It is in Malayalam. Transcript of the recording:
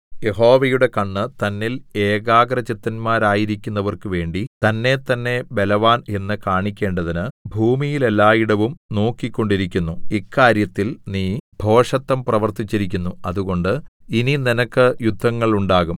യഹോവയുടെ കണ്ണ് തന്നിൽ ഏകാഗ്രചിത്തന്മാരായിരിക്കുന്നവർക്കു വേണ്ടി തന്നേത്തന്നെ ബലവാൻ എന്ന് കാണിക്കേണ്ടതിന് ഭൂമിയിലെല്ലാടവും നോക്കിക്കൊണ്ടിരിക്കുന്നു ഇക്കാര്യത്തിൽ നീ ഭോഷത്തം പ്രവർത്തിച്ചിരിക്കുന്നു അതുകൊണ്ട് ഇനി നിനക്ക് യുദ്ധങ്ങൾ ഉണ്ടാകും